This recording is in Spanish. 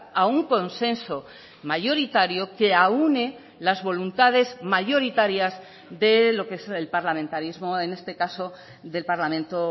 a un consenso mayoritario que aúne las voluntades mayoritarias de lo que es el parlamentarismo en este caso del parlamento